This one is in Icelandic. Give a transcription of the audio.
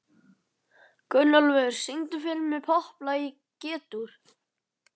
Gunnólfur, syngdu fyrir mig „Popplag í G-dúr“.